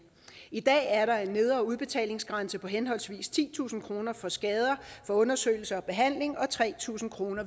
i dag er der en nedre udbetalingsgrænse på henholdsvis titusind kroner for skader undersøgelse og behandling og tre tusind kroner